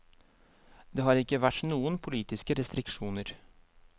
Det har ikke vært noen politiske restriksjoner.